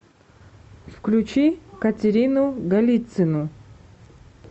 включи катерину голицину